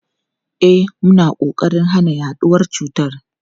E, muna kokarin hana yaduwar cutar.